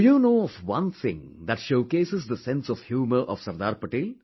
Do you know of one thing that showcases the sense of humour of Sardar Pate